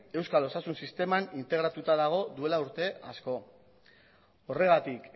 euskal osasun sisteman integratuta dago duela urte asko horregatik